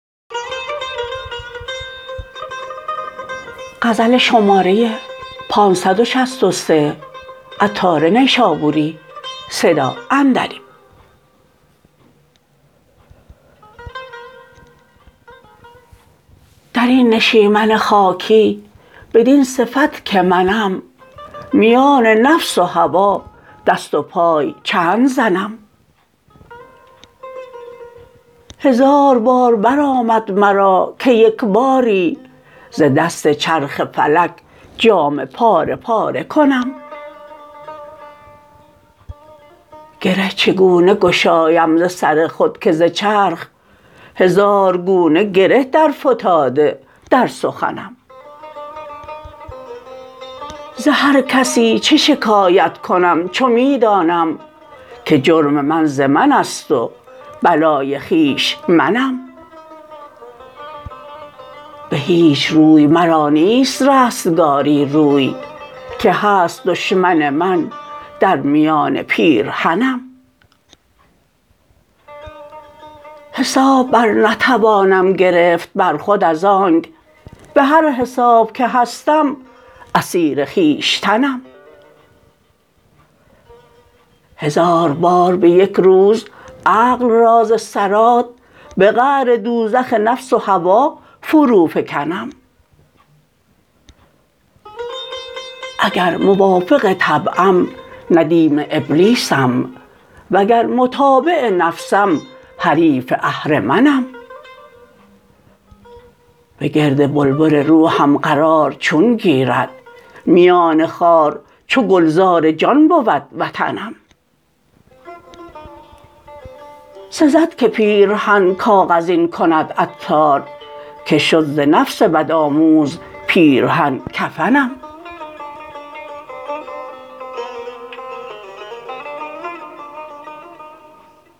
درین نشیمن خاکی بدین صفت که منم میان نفس و هوا دست و پای چند زنم هزار بار برآمد مرا که یکباری ز دست چرخ فلک جامه پاره پاره کنم گره چگونه گشایم ز سر خود که ز چرخ هزار گونه گره در فتاده در سخنم ز هر کسی چه شکایت کنم چو می دانم که جرم من ز من است و بلای خویش منم به هیچ روی مرا نیست رستگاری روی که هست دشمن من در میان پیرهنم حساب بر نتوانم گرفت بر خود از آنک به هر حساب که هستم اسیر خویشتنم هزار بار به یک روز عقل را ز صراط به قعر دوزخ نفس و هوا فرو فکنم اگر موافق طبعم ندیم ابلیسم وگر متابع نفسم حریف اهرمنم به گرد بلبل روحم قرار چون گیرد میان خار چو گلزار جان بود وطنم سزد که پیرهن کاغذین کند عطار که شد ز نفس بدآموز پیرهن کفنم